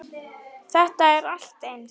Þetta er allt eins.